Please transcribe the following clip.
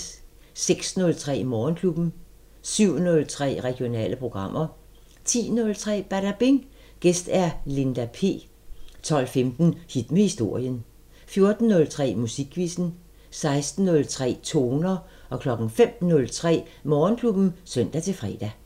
06:03: Morgenklubben 07:03: Regionale programmer 10:03: Badabing: Gæst Linda P 12:15: Hit med historien 14:03: Musikquizzen 16:03: Toner 05:03: Morgenklubben (søn-fre)